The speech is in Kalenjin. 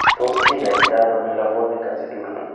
Tos kinyaitano melavonic acidura?